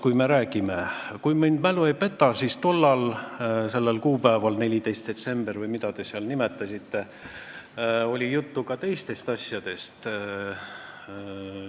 Kui me räägime piirikaubandusest, siis oli tollal, sellel kuupäeval – 14. detsembril või mis te nimetasitegi – juttu ka teistest asjadest, kui mälu mind ei peta.